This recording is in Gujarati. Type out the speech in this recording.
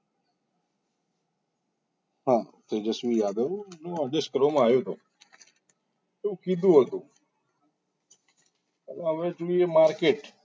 હા તેજસ્વી યાદવ ને આદેશ કરવામાં આવ્યો હતો તો એવું કીધું હતું હવે જોઈએ market